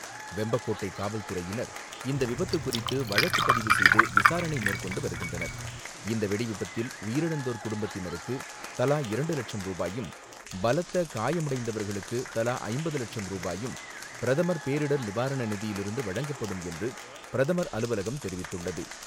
வெம்பக்கோட்டை காவல்துறையினர் இந்த விபத்து குறித்து வழக்கு பதிவு செய்து விசாரணை மேற்கொண்டு வருகின்றனர். இந்த வெடிவிபத்தில் உயிரிழந்தோர் குடும்பத்தினருக்கு தலா இரண்டுலட்சம் ரூபாயும், பலத்த காயமடைந்தவர்களுக்கு தலா ஐம்பது லட்சம் ரூபாயும் பிரதமர் பேரிடர் நிவாரணநிதியிலிருந்து வழங்கப்படும் என்று பிரதமர் அலுவலகம் தெரிவித்துள்ளது.